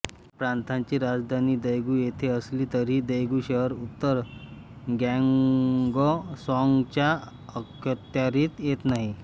ह्या प्रांताची राजधानी दैगू येथे असली तरीही दैगू शहर उत्तर ग्यॉंगसांगच्या अखत्यारीत येत नाही